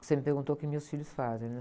Você me perguntou o que meus filhos fazem, né?